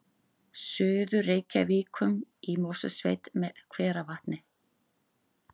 Suður-Reykjum í Mosfellssveit með hveravatni